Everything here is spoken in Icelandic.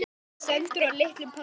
Styttan stendur á litlum palli.